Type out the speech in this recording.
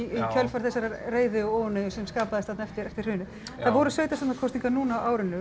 kjölfari þessarar reiði og óánægju sem skapaðist þarna eftir eftir hrunið það voru sveitarstjórnarkosningar núna á árinu